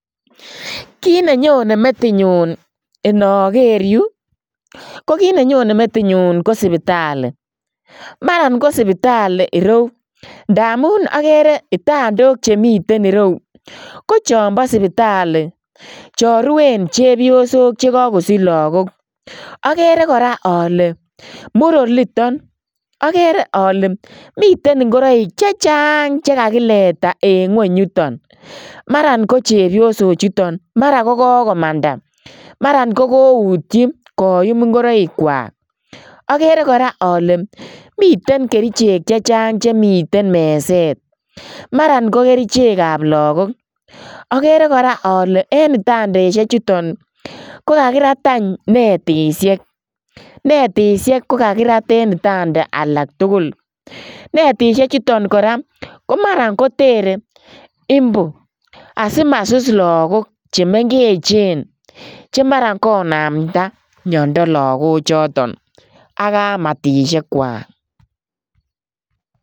Kiit ne nyone metinyu inoker yu, ko kit ne nyone metinyu ko sipitali, maran ko sipitali ireu, ndamun akere kitandok chemiten ireu ko chombo sipitali cho ruen chepyosok che kakosich lagok, akere kora ale mur oliton, akere ale miten ingoroik chechang che kakileta en nguny yuton, maran ko chepyosochuton mara ko kokomandan maran kokoutyi koyum ingoroikwak, akere kora ale miten kerichek che chang chemiten meset, maran ko kerichekab lagok, akere kora ale en itandaisie chuton ko kakirat any netisiek, netisiek ko kakirat en itanda alak tugul, netisiechuton kora ko mara koteren imbu asi masus lagok che mengechen che mara konamda miondo lagochoton ak kamatisiekwak.